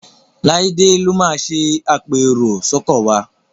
Laide ló má ṣe apẹ èrò sóko wá.